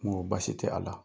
Ŋoo baasi tɛ a la.